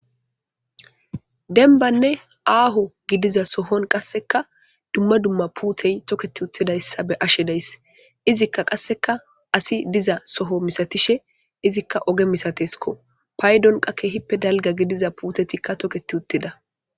Dembbanni aaho gidiza sohoon qassikka dumma dumma puute thokketti uttidassa be'ashee days. Izikka qassikka asi diza sohoo misatishe, izikka oge misatesko. Paydon keehippe dalga gidiza puutetikka thokketti uttida.